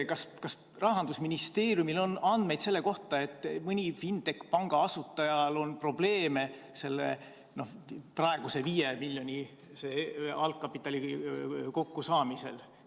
Kas Rahandusministeeriumil on andmeid selle kohta, et mõnel fintech-panga asutajal on probleeme praeguse 5 miljoni suuruse algkapitali kokkusaamisega?